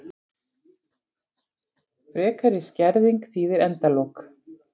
Frekari skerðing þýðir endalok